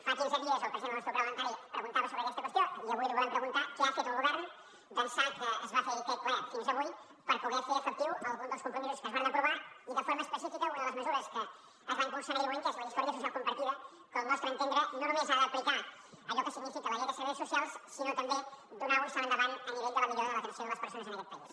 fa quinze dies el president del nostre grup parlamentari preguntava sobre aquesta qüestió i avui li volem preguntar què ha fet el govern d’ençà que es va fer aquell ple fins a avui per poder fer efectiu algun dels compromisos que es varen aprovar i de forma específica una de les mesures que es va impulsar en aquell moment que és la història social compartida que al nostre entendre no només ha d’aplicar allò que significa la llei de serveis socials sinó també donar un salt endavant a nivell de la millora de l’atenció de les persones en aquest país